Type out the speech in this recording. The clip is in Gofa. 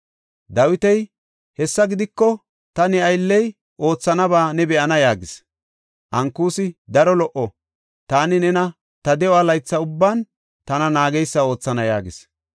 Dawiti, “Hessa gidiko, ta ne aylley oothanaba ne be7ana” yaagis. Ankusi, “Daro lo77o; taani nena ta de7o laytha ubban tana naageysa oothana” yaagis.